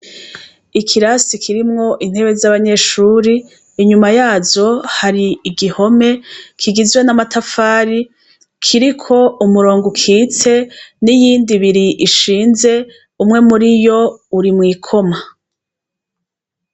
Ikirasi kirimwo intebe z'abanyeshure, inyuma yazo har'igihome kigizwe n'amatafari, kiriko umurongo ukitse ,n'iyindi ibiri ishinze umwe muriyo Uri mw'ikoma.